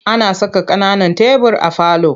Ana saka ƙananan tebur a falo.